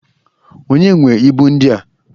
Onye nwe ibu ndia?